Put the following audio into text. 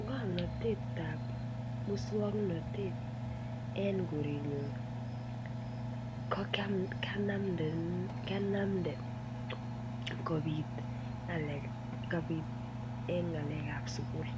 Ngomnatet ab moswoknatet en korenyun ko kianamde kobit ngalekab sukul